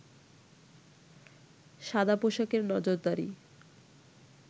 সাদা পোশাকের নজরদারি